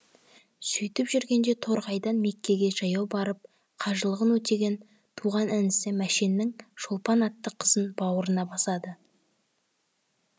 сөйтіп жүргенде торғайдан меккеге жаяу барып қажылығын өтеген туған інісі мәшеннің шолпан атты қызын бауырына басады